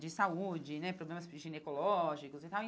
de saúde, né, problemas ginecológicos e tal.